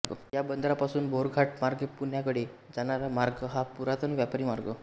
या बंदरापासून बोरघाटमार्गेपुण्याकडे जाणारा मार्ग हा पुरातन व्यापारी मार्ग